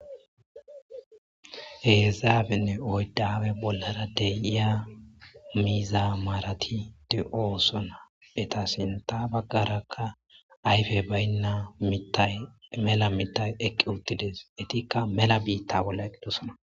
Hezhzhappe oyddawe bollara deyiya miiza maratide ooso na beta sinta baggarakka ayfe baynna tamela mitay eqqi uttides etikka mela biitta bolla eqidosona